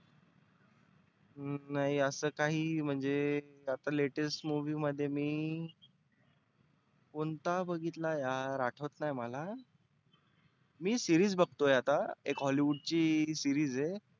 हम्म नाही आसं काही म्हणजे आता latest movie मध्ये मी कोणता बघितला यार आठवत नाही मला. मी series बघतो आहे आता. एक hollywood ची series आहे.